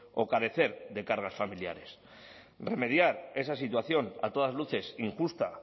o carecer de cargas familiares remediar esa situación a todas luces injusta